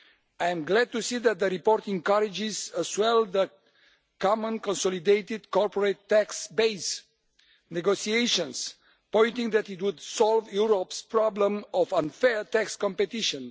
I am glad to see that the report encourages as well the Common Consolidated Corporate Tax Base negotiations, pointing out that this would solve Europe's problem of unfair tax competition.